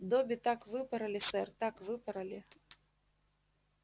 добби так выпороли сэр так выпороли